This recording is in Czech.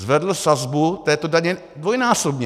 Zvedl sazbu této daně dvojnásobně.